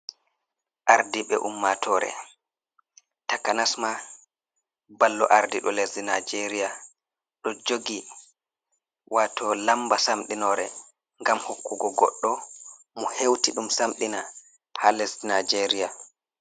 Ardibe ummatore takanasma ballo ardido lesdi nijeria ,do jogi wato lamba samdinore gam hokkugo goddo mo hewti dum samdina ha lesdi nijeria.